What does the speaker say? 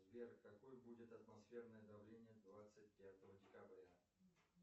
сбер какое будет атмосферное давление двадцать пятого декабря